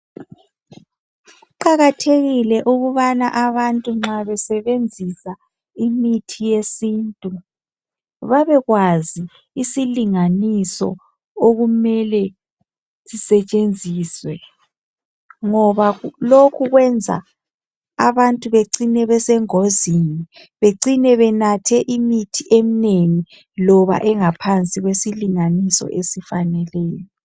Kuqakathekile ukubana abantu nxa besebenzisa imithi yesintu babekwazi isilinganiso okumele sisetshenziswe. Ngoba lokhu kwenza abantu bacine besengozini becine benathe imithi eminengi loba engaphansi kwesilinganiso esifaneleyo.